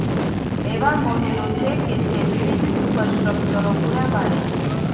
એવા મોડેલો છે કે જે વિવિધ સુપરસ્ટ્રક્ચરો પૂરા પાડે છે